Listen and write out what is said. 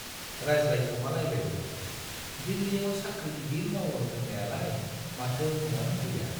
रायज्लायखोमालायबायबो, दिल्लीयाव साख्रि गिदिर मावो होन्नायालाय माथो न' आनो गैया ?